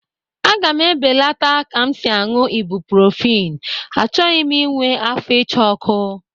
A ga m ebelata ka m si añụ ibuprofen, achọghị m inwe afọ ịcha ọkụ